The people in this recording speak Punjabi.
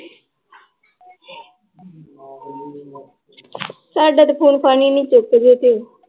ਸਾਡਾ ਤੇ phone ਫਾਨ ਹੀ ਨੀ ਚੁੱਕਦੀ ਤੂੰ।